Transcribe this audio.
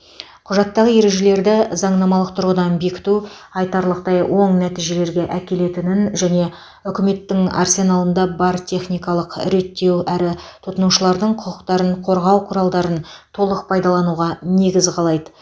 құжаттағы ережелерді заңнамалық тұрғыдан бекіту айтарлықтай оң нәтижелерге әкелетінін және үкіметтің арсеналында бар техникалық реттеу әрі тұтынушылардың құқықтарын қорғау құралдарын толық пайдалануға негіз қалайды